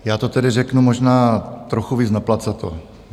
Já to tedy řeknu možná trochu víc naplacato.